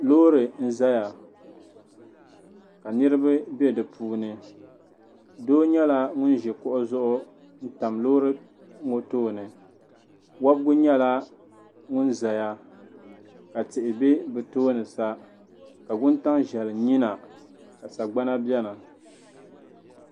Loori n zaya ka niriba bɛ di puuni doo nyɛla ŋuni ŋuni zi kuɣu zuɣu n tam loori ŋɔ tooni wobigu yɛla ŋuni zaya ka tihi bɛ bi tooni sa ka wuntaŋ zɛli nyiya na ka sagbana bɛni.